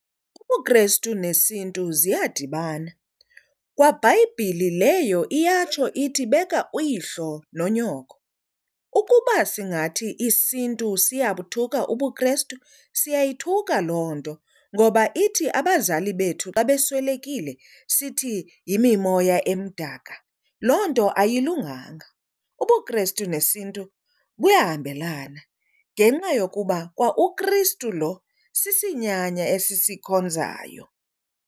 UbuKrestu nesiNtu ziyadibana, kwa Bhayibhile leyo iyatsho ithi beka uyihlo nonyoko. Ukuba singathi isiNtu siyabuthuka ubuKrestu siyayithuka loo nto, ngoba ithi abazali bethu xa beswelekile sithi yimimoya emdaka loo nto ayilunganga. UbuKrestu nesiNtu buyahambelana ngenxa yokuba kwa uKristu lo sisinyanya esisikhonzayo.